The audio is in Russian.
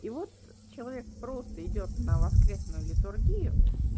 и вот человек просто идёт на воскресную литургию